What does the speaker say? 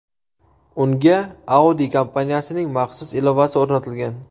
Unga Audi kompaniyasining maxsus ilovasi o‘rnatilgan.